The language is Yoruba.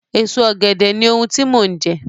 Èso Ọ̀gẹ̀dẹ̀ ni ohun tí mò ń jẹ